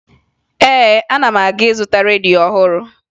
Ee, ana m aga ịzụta redio ọhụrụ